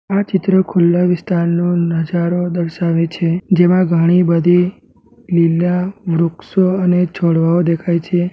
આ ચિત્ર ખુલ્લા વિસ્તારનો નજારો દર્શાવે છે જેમા ઘણી બધી લીલા વૃક્ષો અને છોડવાઓ દેખાય છે.